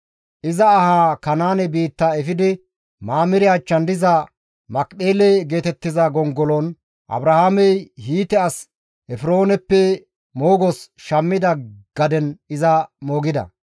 Iza ahaa Kanaane biitta efidi Mamire achchan diza Makipheele geetettiza gongolon, Abrahaamey Hiite as Efrooneppe moogos shammida gaden iza moogida.